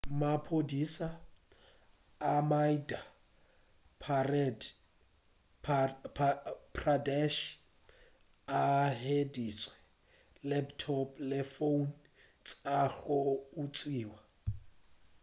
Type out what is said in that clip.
maphodisa a madhya pradesh a hweditše laptop le founo tša go utswiwa